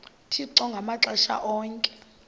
uthixo ngamaxesha onke